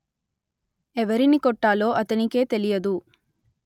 ఎవరిని కొట్టాలో అతనికే తెలియదు